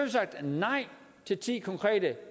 sagt nej til ti